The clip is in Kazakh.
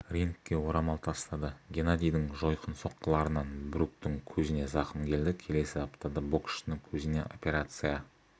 рингке орамал тастады геннадийдің жойқын соққыларынан бруктің көзіне зақым келді келесі аптада боксшының көзіне операция